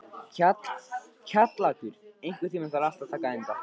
Kjallakur, einhvern tímann þarf allt að taka enda.